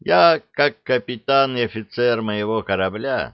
я как капитан и офицер моего корабля